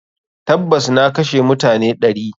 Tabas, na kashe mutane ɗari.